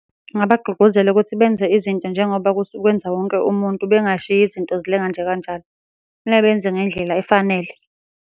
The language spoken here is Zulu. Ngingabagqugquzela ukuthi benze izinto njengoba kwenza wonke umuntu, bengashiyi izinto zilenga nje kanjalo. Kufuneka benze ngendlela efanele.